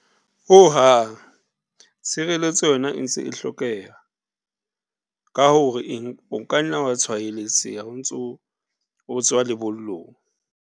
Ho hang, tshireletso yona e ntse e hlokeha ka hore eng, o kanna wa tshwaeletseha ntso o tswa lebollong.